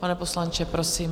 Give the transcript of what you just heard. Pane poslanče, prosím.